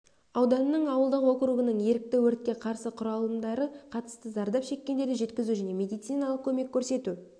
ауданының ауылдық округінің ерікті өртке қарсы құралымдары қатысты зардап шеккендерді жеткізу және медициналық көмек көрсету